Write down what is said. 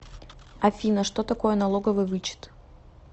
афина что такое налоговый вычет